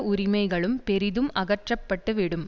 உரிமைகளும் பெரிதும் அகற்றப்பட்டுவிடும்